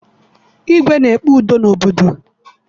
Igwe na-ekpe udo n'obodo